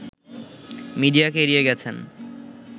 মিডিয়াকে এড়িয়ে গেছেন